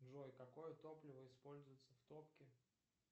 джой какое топливо используется в топке